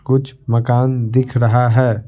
कुछ मकान दिख रहा है।